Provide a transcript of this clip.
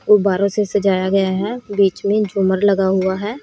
गुब्बारो से सजाया गया है बीच में झूमर लगा हुआ है।